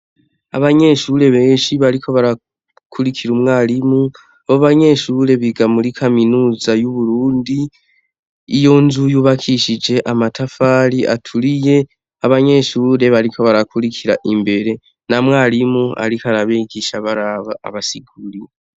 Abanyeshure benshi bariko barakurikira umwarimu, abo banyeshure biga muri kaminuza y'Uburundi, iyo nzu yubakishije amatafari aturiye, abanyeshure bariko barakurikira imbere, na mwarimu ariko arabigisha baraba abasigurira.